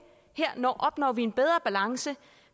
her opnår vi en bedre balance